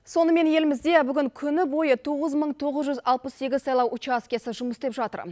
сонымен елімізде бүгін күні бойы тоғыз мың тоғыз жүз алпыс сегіз сайлау учаскесі жұмыс істеп жатыр